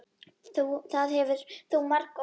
Það hefur þú margoft sagt.